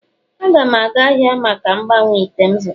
A ga m aga ahia ka m gbanwee ite m zụtara..